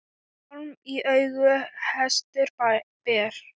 Hjálm í auga hestur ber.